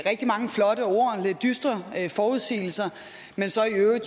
rigtig mange flotte ord og lidt dystre forudsigelser men